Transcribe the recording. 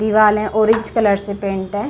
दीवाल है orange colour से पैंट है।